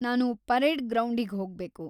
ನಾನು ಪರೇಡ್‌ ಗ್ರೌಂಡಿಗ್ಹೋಗ್ಬೇಕು.